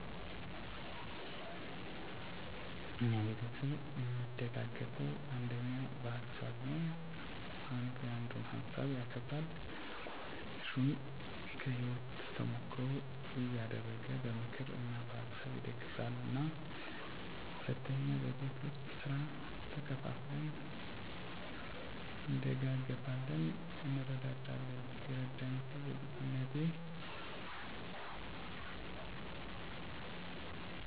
እኛ ቤተሰብ እሚደጋገፈዉ አንደኛ በሀሳብ ነዉ። አንዱ ያንዱን ሀሳብ ያከብራል፣ ትልቁ ትንሹን ከህይወቱ ተሞክሮ እያደረገ በምክር እና በሀሳብ ይደግፉናል። ሁለተኛ በቤት ዉስጥ ስራ ተከፋፍለን እንደጋገፋለን (እንረዳዳለን) ። የረዳኝ ሰዉ በልጅነቴ መምህር ጎረቤት ነበረችን እና በትምህርቴ ላይ ትንሽ ደካማ ነበርኩ፤ ማንበብ አልወድም፣ ትምህርት ቤት መሄድ አልወድም ነበር እኔን ለማስተካከል እና ጠንክሬ እንድማር ትገርፈኝ ነበር፣ ኘሮግራም አዉጥታ ታስጠናኝ ነበር፣ እንድስተካከል በጣም እረድታኛለች(አግዛኛለች) ።